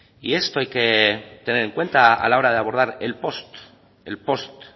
y esto hay que tener en cuenta a la hora de abordar el post